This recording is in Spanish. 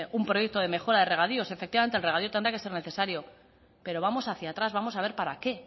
un proyecto de mejora de regadío efectivamente el regadío tendrá que ser necesario pero vamos hacia atrás vamos a ver para qué